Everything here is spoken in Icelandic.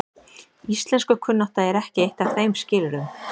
Íslenskukunnátta er ekki eitt af þeim skilyrðum.